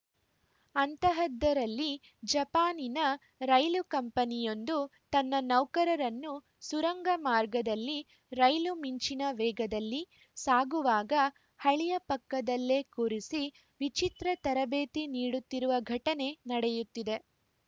ಅಂಥದ್ದರಲ್ಲಿ ಜಪಾನಿನ ರೈಲು ಕಂಪನಿಯೊಂದು ತನ್ನ ನೌಕರರನ್ನು ಸುರಂಗ ಮಾರ್ಗದಲ್ಲಿ ರೈಲು ಮಿಂಚಿನ ವೇಗದಲ್ಲಿ ಸಾಗುವಾಗ ಹಳಿಯ ಪಕ್ಕದಲ್ಲೇ ಕೂರಿಸಿ ವಿಚಿತ್ರ ತರಬೇತಿ ನೀಡುತ್ತಿರುವ ಘಟನೆ ನಡೆಯುತ್ತಿದೆ